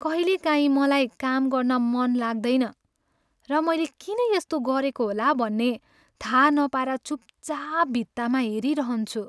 कहिलेकाहीँ मलाई काम गर्न मन लाग्दैन र मैले किन यस्तो गरेको होला भन्ने थाहा नपाएर चुपचाप भित्तामा हेरिरहन्छु।